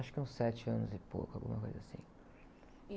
Acho que uns sete anos e pouco, alguma coisa assim.